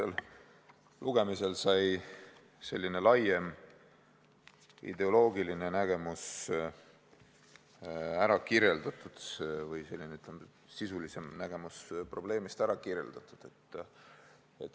Esimesel lugemisel sai selline laiem ideoloogiline nägemus või sisulisem nägemus probleemist ära kirjeldatud.